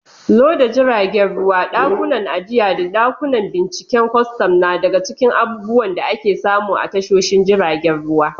Loda jiragen ruwa, dakunan ajiya, da dakunan binciken kwastam na daga cikin abubuwan da ake samu a tashoshin jiragen ruwa.